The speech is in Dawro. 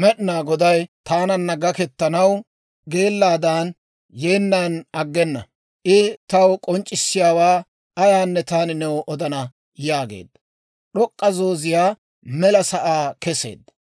Med'inaa Goday taananna gakkettanaw hak'eti yeennan aggena. I taw k'onc'c'issiyaawaa ayaanne taani new odana» yaageedda. D'ok'k'a zoozetiyaa mela sa'aa keseedda.